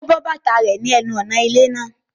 Ó bọ́ bàtà rẹ̀ ní ẹnu ọ̀nà ilé náà